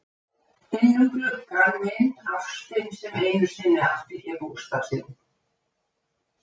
Innum gluggann minn- ástin sem einu sinni átti hér bústað sinn.